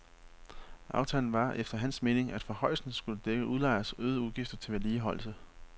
Aftalen var efter hans mening, at forhøjelsen skulle dække udlejers øgede udgifter til vedligeholdelse.